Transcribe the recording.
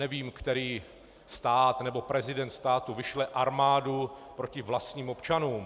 Nevím, který stát nebo prezident státu vyšle armádu proti vlastním občanům.